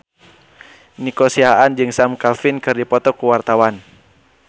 Nico Siahaan jeung Sam Claflin keur dipoto ku wartawan